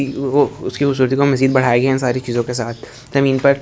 उसकी खूबसूरती को मजीद बढ़ाया गया इन सारी चीजों के साथ जमीन पर--